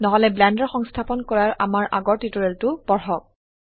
নহলে ব্লেন্ডাৰ সংস্থাপন কৰাৰ আমাৰ আগৰ টিউটোৰিয়ালটো পড়ক